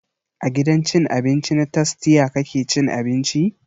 A gidan cin abinci na tastia kake cin abinci?